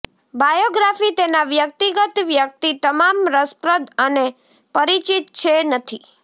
biography તેના વ્યક્તિગત વ્યક્તિ તમામ રસપ્રદ અને પરિચિત છે નથી